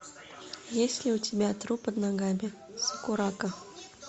есть ли у тебя труп под ногами сакурако